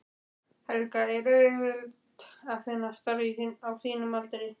Helga: Er auðvelt að finna starf á þínum aldri?